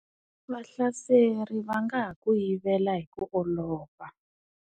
Vahlaseri va nga ha ku yivela hi ku olova.